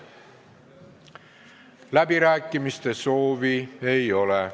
Läbirääkimiste soovi ei ole.